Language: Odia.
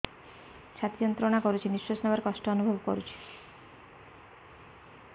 ଛାତି ଯନ୍ତ୍ରଣା କରୁଛି ନିଶ୍ୱାସ ନେବାରେ କଷ୍ଟ ଅନୁଭବ କରୁଛି